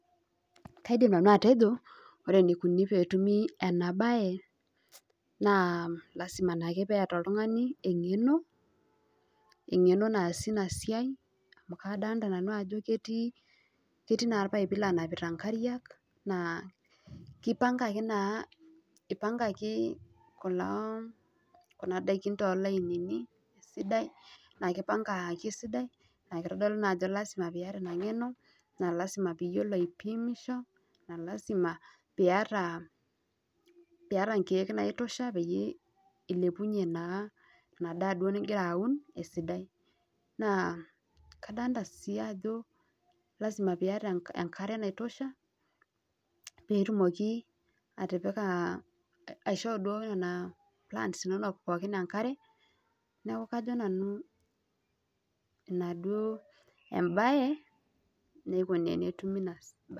Kaidim atejo ore eneikuni peetumi ena baye naa lasima piiyata engeno amu ketii olpaipi loonapita ngariak naa keipangaki naa toolkererin naa kelio naa ajo piiyata ina ngeno naa lasimi piiyio apimisho naa lasima piiyata inkiek naitosha esidai naa kadolita sii ajo lasima piiyata enkare naisho piitosha intokiting nituuno